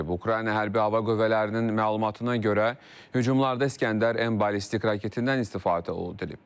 Ukrayna Hərbi Hava Qüvvələrinin məlumatına görə hücumlarda İskəndər M ballistik raketindən istifadə olunub.